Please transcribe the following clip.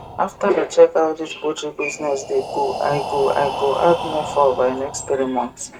after i check how dis poultry business dey go i go i go add more fowl by next three month